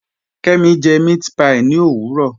Kẹmi jẹ mẹ̀àtpí ní owurọ